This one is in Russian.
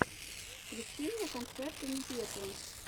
включи мне концерты непеты